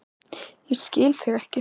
Ég skil þig ekki